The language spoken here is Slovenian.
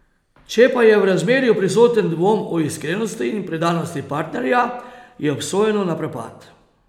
Če pa je v razmerju prisoten dvom o iskrenosti in predanosti partnerja, je obsojeno na propad.